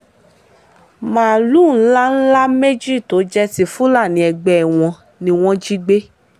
máàlùú ńlá ńlá méjì tó jẹ́ ti fúlàní ẹgbẹ́ wọn ni wọ́n jí gbé